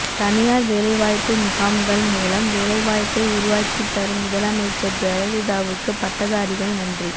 தனியார் வேலைவாய்ப்பு முகாம்கள் மூலம் வேலைவாய்ப்பை உருவாக்கித் தரும் முதலமைச்சர் ஜெயலலிதாவுக்கு பட்டதாரிகள் நன்றி